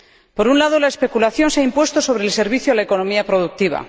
Por un lado, la especulación se ha impuesto sobre el servicio a la economía productiva.